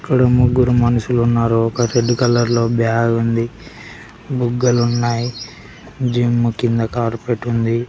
ఇక్కడ ముగ్గురు మనుషులు ఉన్నారు ఒక రెడ్ కలర్లో బ్యాగ్ ఉంది బుగ్గలు ఉన్నాయి జిమ్ కింద కార్పెట్ ఉంది